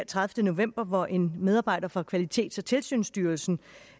tredivete november hvor en medarbejder fra kvalitets og tilsynsstyrelsen